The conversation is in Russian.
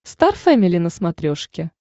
стар фэмили на смотрешке